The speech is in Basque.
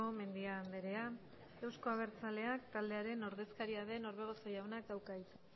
mendia andrea euzko abertzaleak taldearen ordezkaria den orbegozo jaunak dauka hitza